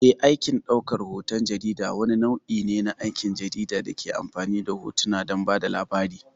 Eh, aikin ɗaukar hoton jarida wani nau'i ne na aikin jarida da ke amfani da hotuna don ba da labari.